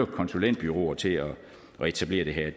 konsulentbureauer til at etablere det her